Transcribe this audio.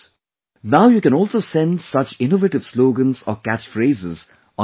Now you can also send such innovative slogans or catch phrases on MyGov